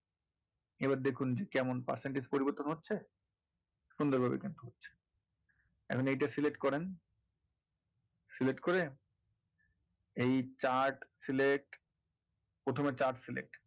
এবার দেখুন যে কেমন percentage পরিবর্তন হচ্ছে? এখন এইটা select করেন select করে এই chart select প্রথমে chart select